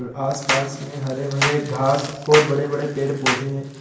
आसपास में हरे भरे घास और बड़े बड़े पेड़ पौधे हैं।